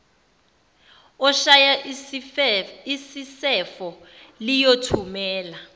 oshaya isisefo liyothumela